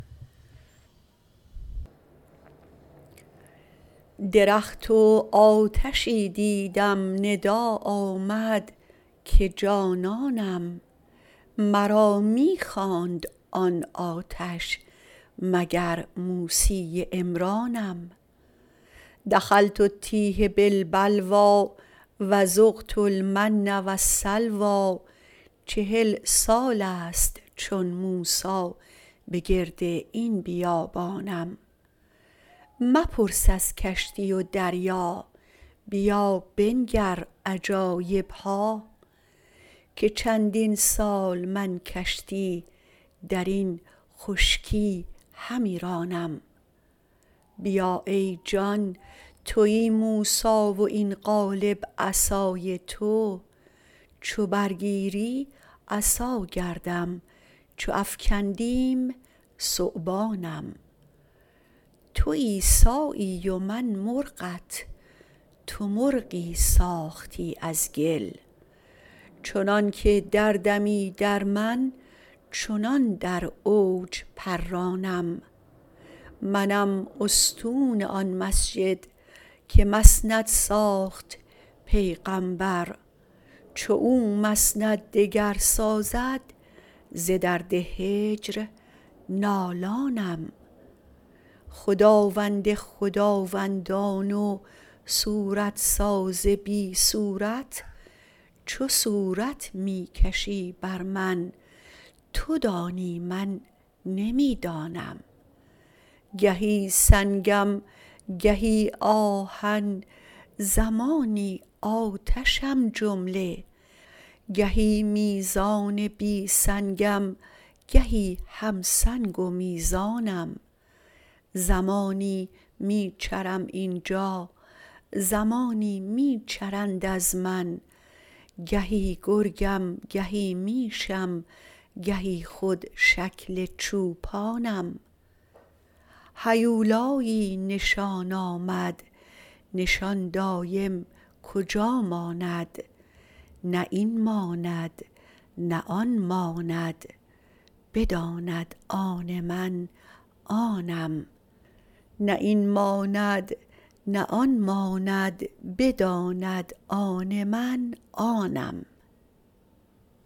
درخت و آتشی دیدم ندا آمد که جانانم مرا می خواند آن آتش مگر موسی عمرانم دخلت التیه بالبلوی و ذقت المن و السلوی چهل سال است چون موسی به گرد این بیابانم مپرس از کشتی و دریا بیا بنگر عجایب ها که چندین سال من کشتی در این خشکی همی رانم بیا ای جان توی موسی و این قالب عصای تو چو برگیری عصا گردم چو افکندیم ثعبانم تو عیسی و من مرغت تو مرغی ساختی از گل چنانک دردمی در من چنان در اوج پرانم منم استون آن مسجد که مسند ساخت پیغامبر چو او مسند دگر سازد ز درد هجر نالانم خداوند خداوندان و صورت ساز بی صورت چه صورت می کشی بر من تو دانی من نمی دانم گهی سنگم گهی آهن زمانی آتشم جمله گهی میزان بی سنگم گهی هم سنگ و میزانم زمانی می چرم این جا زمانی می چرند از من گهی گرگم گهی میشم گهی خود شکل چوپانم هیولایی نشان آمد نشان دایم کجا ماند نه این ماند نه آن ماند بداند آن من آنم